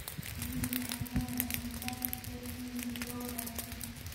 Shinnidu waxay leedahay nidaam isgaarsiineed oo wanaagsan.